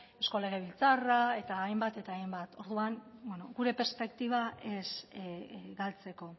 eusko legebiltzarra eta hainbat eta hainbat orduan gure perspektiba ez galtzeko